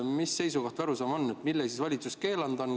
Mis see seisukoht või arusaam on: mille siis valitsus keelanud on?